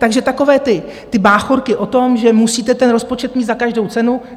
Takže takové ty báchorky o tom, že musíte ten rozpočet mít za každou cenu...